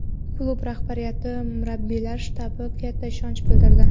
Klub rahbariyati va murabbiylar shtabi katta ishonch bildirdi.